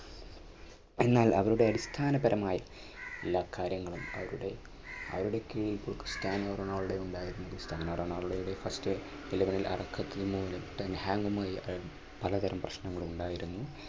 എന്നാൽ അവരുടെ അടിസ്ഥാനപരമായി എല്ലാ കാര്യങ്ങളും അവരുടെ കീഴിൽ സ്ഥാനാർ റൊണാൾഡോ ഉണ്ടായിരുന്നത് സ്ഥാന റൊണാൾഡോയുടെ first eleven ൽ പലതരം പ്രശ്നങ്ങളും ഉണ്ടായിരുന്നു.